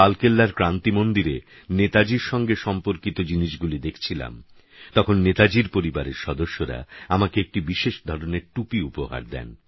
আমি যখন লালকেল্লার ক্রান্তি মন্দিরে নেতাজীর সঙ্গে সম্পর্কিত জিনিষগুলি দেখছিলাম তখন নেতাজীর পরিবারের সদস্যরা আমাকে একটি বিশেষ ধরনের টুপি উপহার দেন